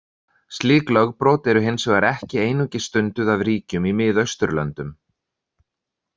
Slík lögbrot eru hins vegar ekki einungis stunduð af ríkjum í Miðausturlöndum.